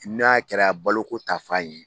N'a kɛra balo ko ta fan yen.